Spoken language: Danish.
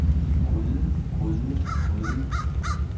gryde gryde gryde